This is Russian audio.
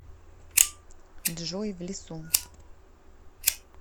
джой в лесу